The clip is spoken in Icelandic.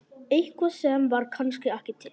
Eitthvað sem var kannski ekki til.